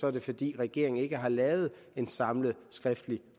er det fordi regeringen ikke har lavet en samlet skriftlig